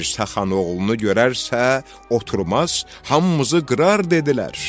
Dirsəxan oğlunu görərsə, oturmaz, hamımızı qırar dedilər.